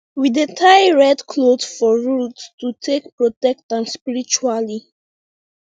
we dey tie red cloth for root to take protect am spiritually